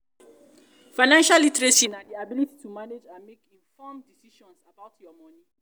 financial literacy be di ability to manage and make informed decisions about your money.